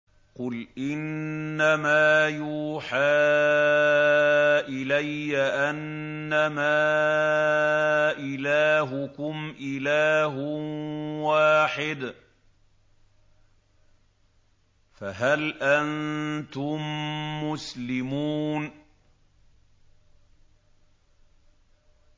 قُلْ إِنَّمَا يُوحَىٰ إِلَيَّ أَنَّمَا إِلَٰهُكُمْ إِلَٰهٌ وَاحِدٌ ۖ فَهَلْ أَنتُم مُّسْلِمُونَ